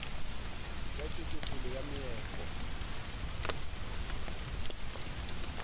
ya tšwetšopele ya meepo le